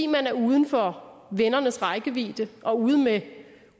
man er uden for vennernes rækkevidde og ude med